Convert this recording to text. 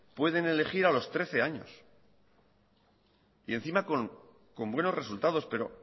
pueden elegir a los trece años y encima con buenos resultados pero